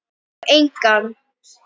Og engan.